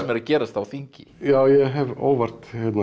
að gerast á þingi já ég hef óvart